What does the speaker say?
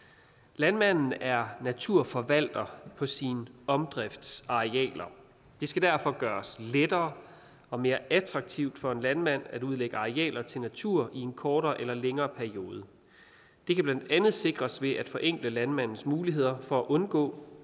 landmanden er naturforvalter på sine omdriftsarealer det skal derfor gøres lettere og mere attraktivt for en landmand at udlægge arealer til natur i en kortere eller længere periode det kan blandt andet sikres ved at forenkle landmandens muligheder for at undgå